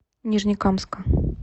нижнекамска